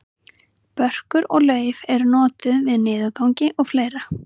börkur og lauf eru notuð við niðurgangi og fleira